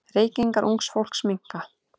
Reykingar ungs fólks minnka.